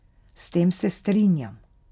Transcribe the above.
S tem se strinjam.